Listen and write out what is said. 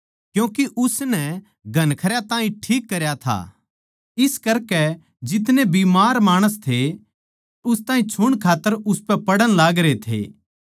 क्यूँके उसनै घणखरयां ताहीं ठीक करया था इस करकै जितने माणस बीमार थे उस ताहीं छुण खात्तर उसपै पड़ण लागरे थे